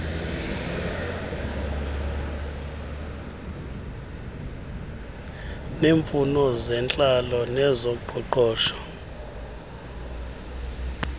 neemfuno zentlalo nezoqoqosho